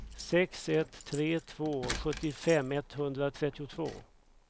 sex ett tre två sjuttiofem etthundratrettiotvå